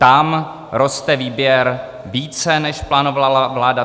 Tam roste výběr více, než plánovala vláda.